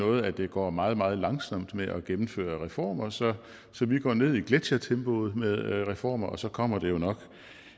noget at det går meget meget langsomt med at gennemføre reformer så vi går ned i gletsjertempo med reformer og så kommer det jo nok